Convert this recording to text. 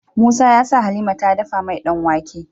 Musa yasa halima ta dafa mai dan wake